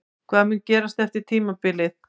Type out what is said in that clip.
Hvað mun gerast eftir tímabilið?